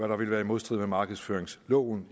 der ville være i modstrid med markedsføringsloven